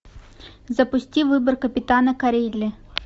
запусти выбор капитана корелли